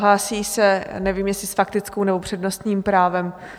Hlásí se, nevím, jestli s faktickou, nebo přednostním právem?